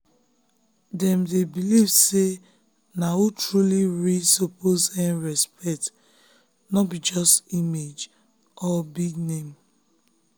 dem dem believe say na who truly real suppose earn respect no be just image or big name.